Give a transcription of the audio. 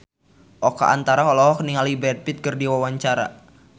Oka Antara olohok ningali Brad Pitt keur diwawancara